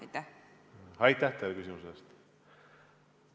Aitäh teile küsimuse eest!